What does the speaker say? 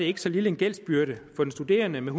ikke så lille en gældsbyrde for den studerende med